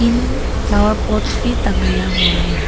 उम flower pods भी तंगया हुए हैं।